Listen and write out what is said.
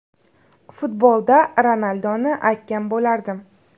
Futbolda Ronaldoni aytgan bo‘lardim.